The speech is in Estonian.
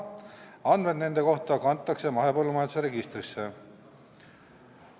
Andmed nende kohta kantakse mahepõllumajanduse registrisse.